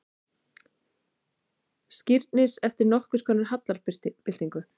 Skírnis eftir nokkurskonar hallarbyltingu.